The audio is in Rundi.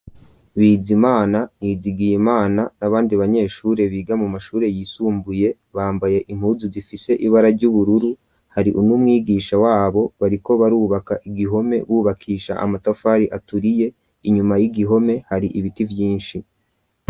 Bizimana, Nizigiyimana, n'abandi banyeshure, biga mu mashure yisumbuye, bambaye impuzu, zifise ibara ry'ubururu; hari n’umwigisha wabo, bariko barubaka igihome, bubakisha amatafari, aturiye; inyuma y'igihome, hari ibiti vyinshi.